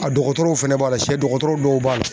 A dɔgɔtɔrɔw fɛnɛ b'a la sɛdɔgɔtɔrɔ dɔw b'a la.